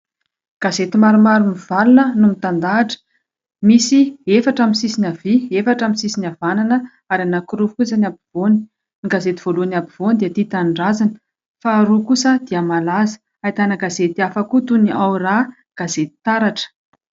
Gazety maromaro mivalona no mitandahatra, misy efatra amin'ny sisiny havia, efatra amin'ny sisiny havanana ary anankiroa fotsiny ny afovoany . Ny gazety voalohany afovoany dia :TIA TANINDRAZANA, faharoa kosa dia : MALAZA, ahitana gazety hafa koa toy ny Ao Raha, gazety TARATRA.